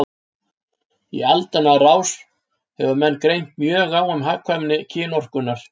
Í aldanna rás hefur menn greint mjög á um hagkvæmni kynorkunnar.